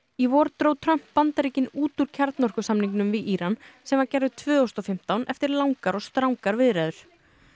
í vor dró Trump Bandaríkin út úr kjarnorkusamningnum við Íran sem gerður tvö þúsund og fimmtán eftir langar og strangar viðræður